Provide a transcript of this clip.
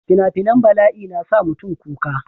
fina-finan balai na sa mutum kuka